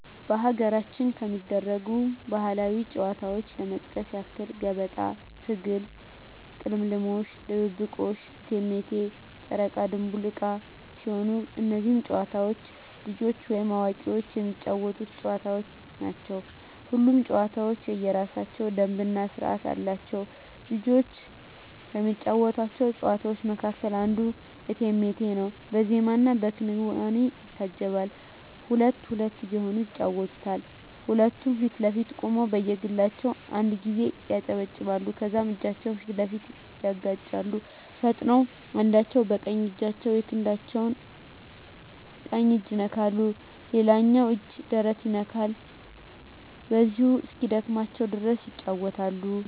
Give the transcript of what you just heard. በሀገራችን ከሚደረጉ ባህላዊ ጨዋታዎች ለመጥቀስ ያክል ገበጣ፣ ትግል፣ ቅልምልሞሽ፣ ድብብቆሽ፣ እቴሜቴ፣ ጨረቃ ድንቡል ዕቃ ሲሆኑ እነዚህ ጨዋታዎች ልጆችም ወይም አዋቂዎች የሚጫወቱት ጨዋታዎች ናቸው። ሁሉም ጨዋታ የየራሳቸው ደንብ እና ስርዓት አላቸው። ልጆች ከሚጫወቷቸው ጨዋታዎች መካከል አንዱ እቴሜቴ ነው በዜማና በክዋኔ ይታጀባል ሁለት ሁለት እየሆኑ ይጫወቱታል ሁለቱም ፊት ለፊት ቆመው በየግላቸው አንድ ጊዜ ያጨበጭባሉ ከዛም እጃቸውን ፊት ለፊት ያጋጫሉ ፈጥነው አንዳቸው በቀኝ እጃቸው የክንዳቸው ቀኝ እጅ ይነካል ሌላኛው እጅ ደረት ይነካል በዚሁ እስኪደክማቸው ድረስ ይጫወታሉ።